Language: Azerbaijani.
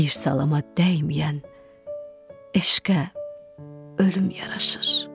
Bir salama dəyməyən eşqə ölüm yaraşır.